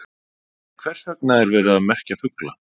En hvers vegna er verið að merkja fugla?